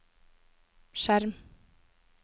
skjerm